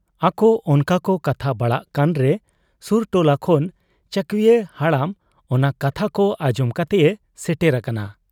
ᱟᱠᱚ ᱚᱱᱠᱟᱠᱚ ᱠᱟᱛᱷᱟ ᱵᱟᱲᱟᱜ ᱠᱟᱱᱨᱮ ᱥᱩᱨ ᱴᱚᱞᱟ ᱠᱷᱚᱱ ᱪᱟᱹᱣᱠᱤᱭᱟᱹ ᱦᱟᱲᱟᱢ ᱚᱱᱟ ᱠᱟᱛᱷᱟ ᱠᱚ ᱟᱸᱡᱚᱢ ᱠᱟᱛᱮᱭ ᱥᱮᱴᱮᱨ ᱟᱠᱟᱱᱟ ᱾